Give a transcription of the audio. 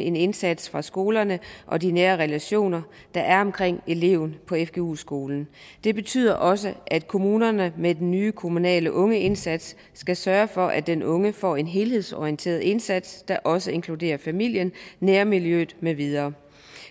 en indsats fra skolerne og de nære relationer der er omkring eleven på fgu skolen det betyder også at kommunerne med den nye kommunale ungeindsats skal sørge for at den unge får en helhedsorienteret indsats der også inkluderer familien nærmiljøet med videre